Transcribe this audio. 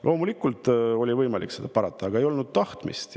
Loomulikult oli võimalik parata, aga ei olnud tahtmist.